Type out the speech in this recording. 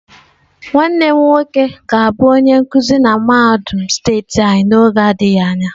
Nwannem nwoke ga-abu onye nkuzi na mahadum steeti anyi n'oge adighi anya.